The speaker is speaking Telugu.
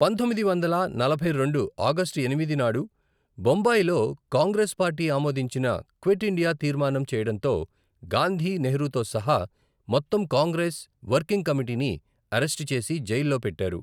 పంతొమ్మిది వందల నలభై రెండు ఆగస్టు ఎనిమిది నాడు బొంబాయిలో కాంగ్రెస్ పార్టీ ఆమోదించిన క్విట్ ఇండియా తీర్మానం చేయడంతో, గాంధీ, నెహ్రూతో సహా మొత్తం కాంగ్రెస్ వర్కింగ్ కమిటీని అరెస్టు చేసి జైలులో పెట్టారు.